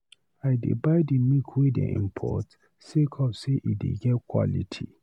I dey buy di milk wey dem import sake of sey e dey get quality.